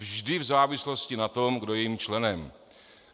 Vždy v závislosti na tom, kdo je jejím členem.